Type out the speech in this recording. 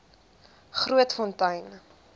grootfontein